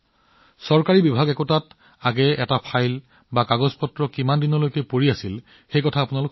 আপোনালোক সকলোৱে জানে যে আগতে চৰকাৰী কাৰ্যালয়ত কিমান পুৰণি ফাইল আৰু কাগজ আছিল